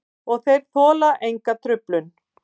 Og þeir þola enga truflun.